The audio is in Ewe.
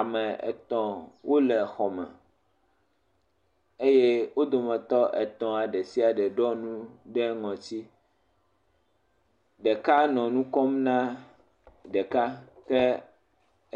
Ame etɔ̃ wole xɔme eye wo dometɔ etɔ̃ ɖe sia ɖe ɖɔ nu ɖe ŋɔti, ɖeka nɔ nu nam ɖeka ke